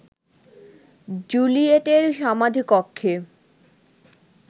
জুলিয়েটের সমাধিকক্ষে